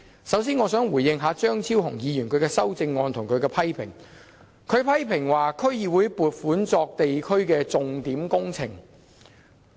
首先，我想回應一下張超雄議員的修正案，以及他對區議會撥款作社區重點項目計劃的批評。